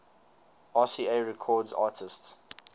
rca records artists